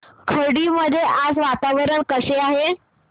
खर्डी मध्ये आज वातावरण कसे आहे